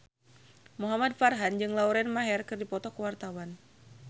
Muhamad Farhan jeung Lauren Maher keur dipoto ku wartawan